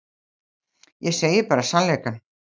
Ég segi bara sannleikann.